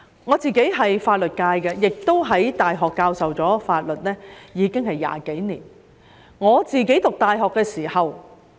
我屬法律界，在大學教授法律亦已有20多年。我讀大學時......